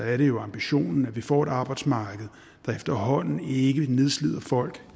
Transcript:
er det jo ambitionen at vi får et arbejdsmarked der efterhånden ikke nedslider folk